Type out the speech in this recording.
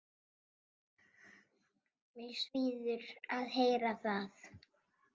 Mig svíður að heyra það.